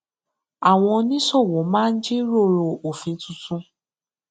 àwọn oníṣòwò máa ń jíròrò òfin tuntun